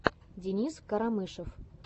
денис карамышев